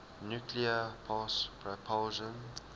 nuclear pulse propulsion